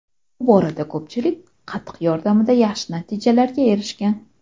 Bu borada ko‘pchilik, qatiq yordamida yaxshi natijalarga erishgan.